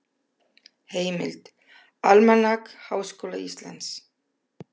Heimild: Almanak Háskóla Íslands.